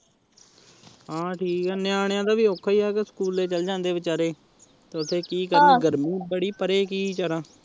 ਹਾਂ ਠੀਕ ਐ ਨਿਆਣਿਆ ਦਾ ਵੀ ਔਖਾ ਹੀਂ ਐ ਸਕੂਲੇ ਚੱਲ ਜਾਂਦੇ ਐ ਵਿਚਾਰੇ ਤੇ ਓਥੇ ਕੀ ਕਰਨ ਗਰਮੀ ਬੜੀ, ਪਰੇ ਕੀ ਵਿਚਾਰਾ